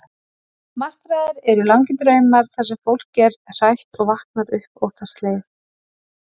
Martraðir eru langir draumar, þar sem fólk er hrætt og vaknar upp óttaslegið.